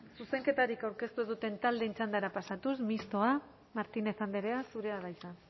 zuzenketarik aurkeztu duten taldeen txandara pasatuz mistoa martínez andrea zurea da hitza